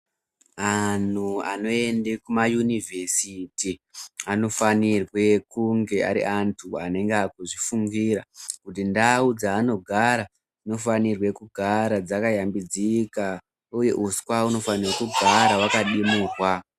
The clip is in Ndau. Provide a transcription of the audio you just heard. Anhu anoende kumayunivhesiti anofanire kunge ari antu anenge akuzvifungirw kuti ndau dzaanogara dzinofanire kugara dzakayambidzika uye uswa hunofane kugara hwakadimirwa.